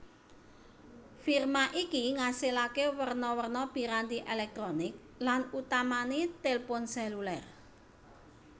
Firma iki ngasilaké werna werna piranti èlèktronik lan utamané tilpun sèlulêr